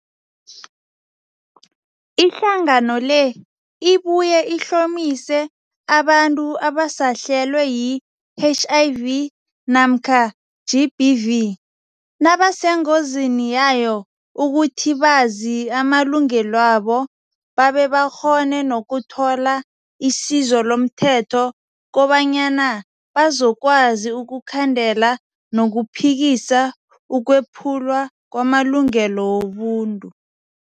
Ihlangano le ibuye ihlomise abantu abasahlelwe yi-HIV namkha GBV, nabasengozini yayo ukuthi bazi amalungelwabo babe bakghone nokuthola isizo lomthetho kobanyana bazokwazi ukukhandela nokuphikisa ukwephulwa kwamalungelo wobuntu.